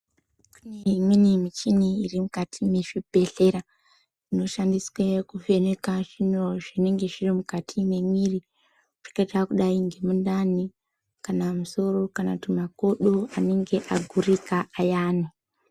Imweni michini iri mukati mwezvibhedhlera inoshandiswe kuvheneka zviro zvinenge zviri mukati mwemwiri zvakada kudai ngemundani kana musoro kana kuti makodo anenge agurika zviyani.